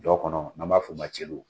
Jɔ kɔnɔ n' b'a f'o ma celu